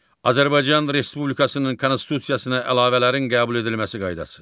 Azərbaycan Respublikasının Konstitusiyasına əlavələrin qəbul edilməsi qaydası.